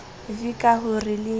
v ka ho re le